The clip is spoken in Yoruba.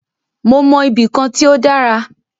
Mó mọ ibì kan tí o dára.